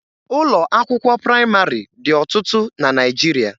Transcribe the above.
Ụlọ akwụkwọ praịmarị dị ọtụtụ na Naịjirịa.